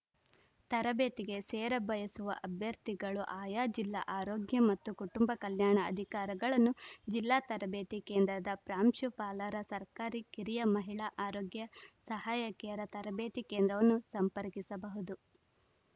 ತರಬೇತಿಗೆ ಸೇರಬಯಸುವ ಅಭ್ಯರ್ಥಿಗಳು ಆಯಾ ಜಿಲ್ಲಾ ಆರೋಗ್ಯ ಮತ್ತು ಕುಟುಂಬ ಕಲ್ಯಾಣ ಅಧಿಕಾರಗಳನ್ನು ಜಿಲ್ಲಾ ತರಬೇತಿ ಕೇಂದ್ರದ ಪ್ರಾಂಶುಪಾಲರ ಸರ್ಕಾರಿ ಕಿರಿಯ ಮಹಿಳಾ ಆರೋಗ್ಯ ಸಹಾಯಕಿಯರ ತರಬೇತಿ ಕೇಂದ್ರವನ್ನು ಸಂಪರ್ಕಿಸಬಹುದು